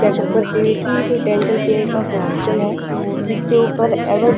checkup करते हुए कि कोई डेंटल केयर का हॉस्पिटल है जिसके ऊपर एवर --